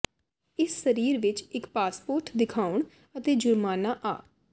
ਇਸ ਸਰੀਰ ਵਿੱਚ ਇੱਕ ਪਾਸਪੋਰਟ ਦਿਖਾਉਣ ਅਤੇ ਜੁਰਮਾਨਾ ਆ